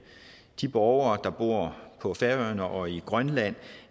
de borgere der bor på færøerne og i grønland